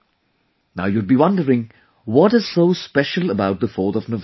Now, you would be wondering, what is so special about 4th of November